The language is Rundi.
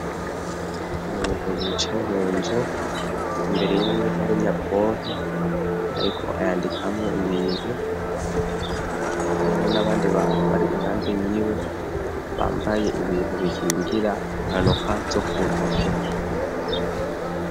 Umuntu yicaye mu nzu imbere yiwe harenyabwohe, ariko ayandikamwo ibintu ariho n'abandi bantu bari impanze yiwe bambaye ibintu bikingira imkanuka zo ku ntoke.